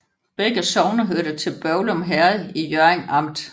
Begge sogne hørte til Børglum Herred i Hjørring Amt